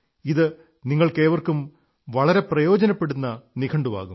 ഇത് നിങ്ങൾക്കേവർക്കും വളരെ പ്രയോജനപ്പെടുന്ന നിഘണ്ടുവാകും